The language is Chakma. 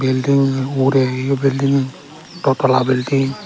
building ugure heyo building do tala building.